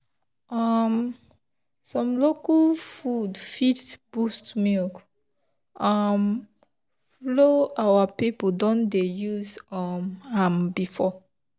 um some local food fit boost milk um flow our people don dey use um am before.